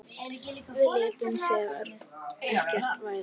Við létum sem ekkert væri.